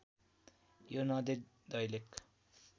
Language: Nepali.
यो नदी दैलेख